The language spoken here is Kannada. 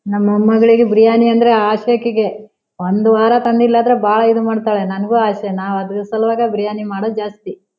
ನಮ್ ಮೊಮ್ಮಗಳಿಗೆ ಬಿರಿಯಾನಿ ಅಂದ್ರೆ ಆಸೆ ಅಕ್ಕಿಗೆ ಒಂದ್ ವಾರ ತಂದಿಲ್ಲ ಅಂದ್ರೆ ಬಹಳ ಇದು ಮಾಡತ್ತಾಳೆ ನಂಗು ಆಸೆ ನ ಅದರ ಸಲುವಾಗಿ ಬಿರಿಯಾನಿ ಮಾಡೋದ್ ಜಾಸ್ತಿ.